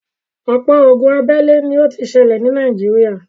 ọ̀pọ̀ ogun abélé ni ó ti sẹlẹ̀ ní Nàìjíríà.